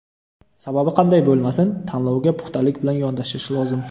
Sababi qanday bo‘lmasin, tanlovga puxtalik bilan yondashish lozim.